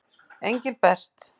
Engilbert